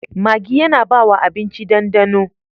Maggi yAna bawa abinci dan dano